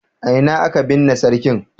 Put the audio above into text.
A ina aka binne sarkin?